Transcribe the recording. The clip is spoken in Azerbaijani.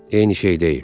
Eyni şey deyil.